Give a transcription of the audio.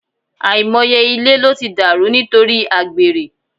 Àìmọye ilé ló ti dàrú nítorí àgbèrè